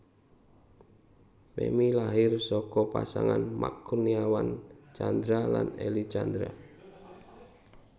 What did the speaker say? Femmy lahir saka pasangan Max Kurniawan Tjandra lan Elly Tjandra